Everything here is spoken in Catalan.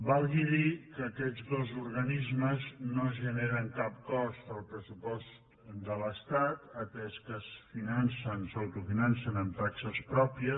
val a dir que aquests dos organismes no generen cap cost al pressupost de l’estat atès que s’autofinancen amb taxes pròpies